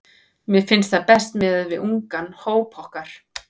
Mér finnst það best miðað við ungan hóp okkar.